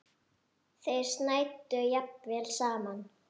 Þeir snæddu jafnvel saman.